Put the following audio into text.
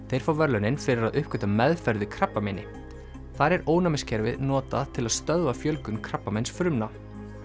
þeir fá verðlaunin fyrir að uppgötva meðferð við krabbameini þar er ónæmiskerfið notað til að stöðva fjölgun krabbameinsfrumna